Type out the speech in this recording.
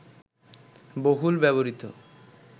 বহুল ব্যবহৃত